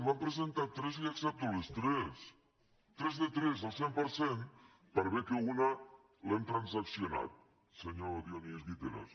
n’han presentades tres li accepto les tres tres de tres el cent per cent per bé que una l’hem transaccionada senyor dionís guiteras